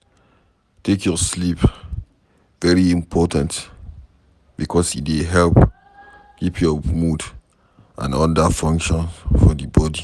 Take your sleep very important because e dey help to keep your mood and oda functions for di body